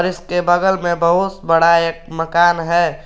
इसके बगल में बहुत बड़ा एक मकान है।